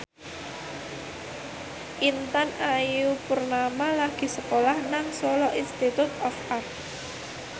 Intan Ayu Purnama lagi sekolah nang Solo Institute of Art